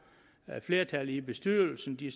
flertal i bestyrelsen de